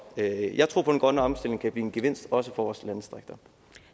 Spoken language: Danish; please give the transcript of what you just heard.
jeg jeg tror på at den grønne omstilling kan blive en gevinst også for vores landdistrikter